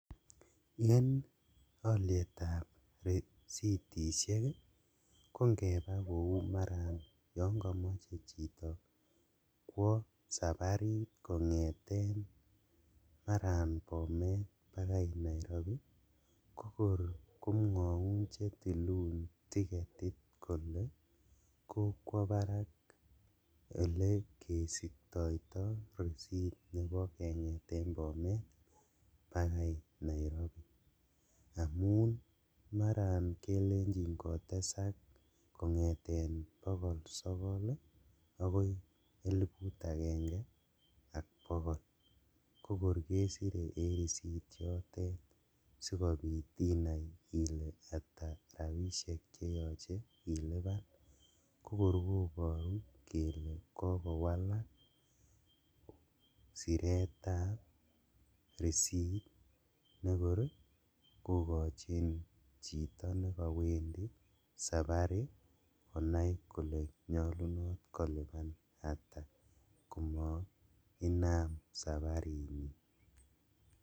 En olietab risitishek ii kongebaa kou maran yon komoche chito kwo saparit kongeten maran Bomet bakai Nairobi, kokor komwoun chetilun ticketit kole kokwo barak olekesiktoito risit nebo kengeten Bomet bakai Nairobi amun maran kelenjin kotesak kongeten bogol sogol ii akoi eliput agenge ak bogol kokor kesire en risit chotet sikobit inai ile ata rabishek cheyoche iliban, kokor koboru kele kokowalak siretab risit nekor ii kokojin chito nekowendi sapari konai kole nyolunot koliban ata komainam saparinyin.